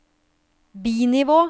bi-nivå